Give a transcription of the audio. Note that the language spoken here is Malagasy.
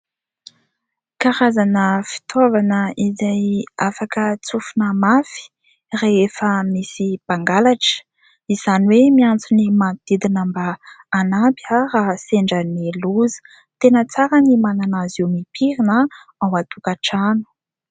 Karazana fitaovana izay afaka tsofina mafy rehefa misy mpangalatra. Izany hoe : miantso ny manodidina mba hanampy raha sendra ny loza. Tena tsara ny manana azy io mipirina ao an-tokantrano.